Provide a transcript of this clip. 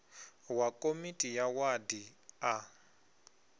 wa komiti ya wadi a